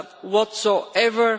whatsoever.